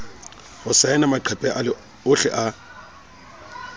ho saena maqephe ohle a